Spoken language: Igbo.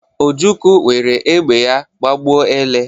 Ojukwu were egbe ya gbagbuo ele.